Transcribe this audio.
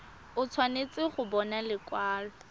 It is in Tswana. o tshwanetse go bona lekwalo